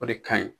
O de ka ɲi